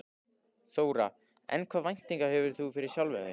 Þóra: En hvaða væntingar hefur þú fyrir sjálfan þig?